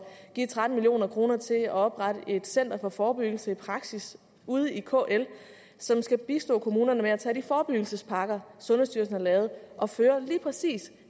at give tretten million kroner til at oprette et center for forebyggelse i praksis ude i kl som skal bistå kommunerne med at tage de forebyggelsespakker sundhedsstyrelsen har lavet og føre lige præcis